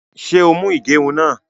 Ṣé o mú igerún náà?